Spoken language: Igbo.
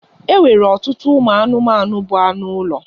E nwere ọtụtụ ụmụ anụmanụ bụ anụ ụlọ.